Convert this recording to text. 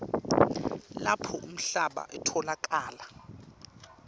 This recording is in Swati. lapho lomhlaba utfolakala